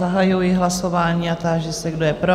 Zahajuji hlasování a táži se, kdo je pro?